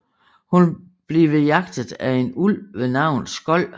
Hun blive jagtet af en ulv ved navn Skoll